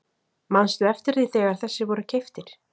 Manstu eftir því þegar þessir voru keyptir?